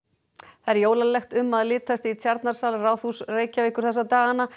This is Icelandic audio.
það er jólalegt um að litast í Tjarnarsal Ráðhúss Reykjavíkur þessa dagana